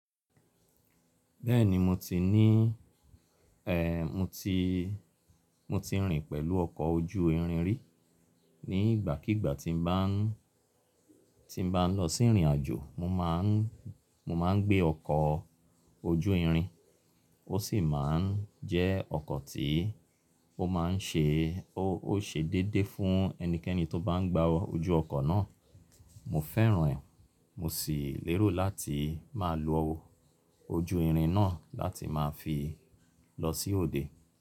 Bẹ́ẹ̀ni mo ti ní, eh, mo ti, mo ti rìn pẹ̀lú ọkọ̀ ojú irin rí. Ni ìgbàkígbà tí n bá, tí n bá ń lọ sí ìrìnàjò mo máa ń, mo máa ń gbé ọkọ̀ ojú irin. Ó sì máa ń jẹ́ ọkọ̀ tí ó máa ń ṣe, ó, ó ṣe déédéé fún ẹnikẹ́ni tó bá ń gba ojú ọkọ̀ náà. Mo fẹ́ràn rẹ̀, mo sì lérò láti máa lo ojú irin náà láti máa fi lọ sí òde.